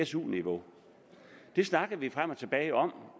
su niveau det snakkede vi frem og tilbage om